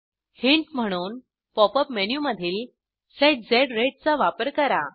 hint म्हणून pop up मेनूमधील set झ राते चा वापर करा